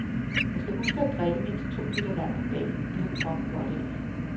Man skal huske at drikke mindst to liter vand om dagen, det har kroppen godt af.